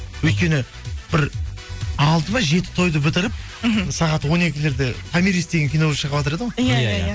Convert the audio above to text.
өйткені бір алты ма жеті тойды бітіріп мхм сағат он екілерде томирис деген кино шығыватыр еді ғой иә иә